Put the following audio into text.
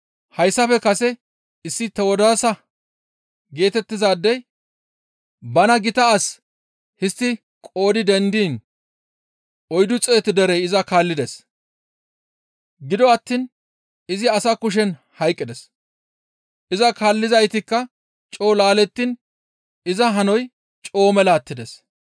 Hayssafe kase issi Tewodaasa geetettizaadey bana gita as histti qoodi dendiin oyddu xeetu derey iza kaallides; gido attiin izi asa kushen hayqqides; iza kaallizaytikka coo laalettiin iza hanoy coo mela attides.